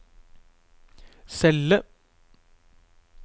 celle